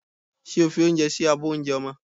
Ṣé o fi oúnjẹ sí abọ́ oúnjẹ ọmọ?